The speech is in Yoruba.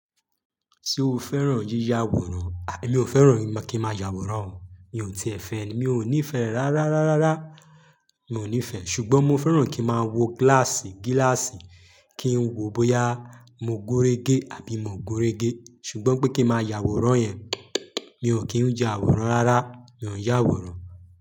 Tí o fẹ́ràn yíya àwòrán, àbí mi ò fẹ́ràn kí n máa ya àwòrán. Mi ò ti e fẹ́ ẹni, mi ò nífẹ̀ẹ́ rárá, rárá, rárá, mi ò nífẹ̀ẹ́. Ṣùgbọ́n mo fẹ́ràn kí n máa wo gíláàsì, kí n wo bóyá mo gúnrégé àbí mo ò gúnrégé. Ṣùgbọ́n pé kí n máa yàwòrán yẹn, mi ò kí ń y'àwòrán rárá, mi ò yàwòrán.